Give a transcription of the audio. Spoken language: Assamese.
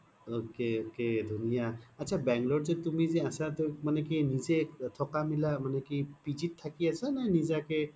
ok ok ধুনিয়া আত্ছা bangalore ত তুমি জে আছা তুমি কি নিজেই থকা মিলা মানে কি পিজি ত থাকি আছা নে নেজা কে?